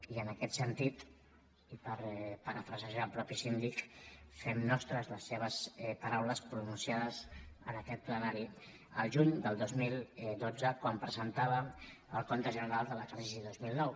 i en aquest sentit i per parafrasejar el mateix síndic fem nostres les seves paraules pronunciades en aquest plenari el juny del dos mil dotze quan presentàvem el compte general de l’exercici del dos mil nou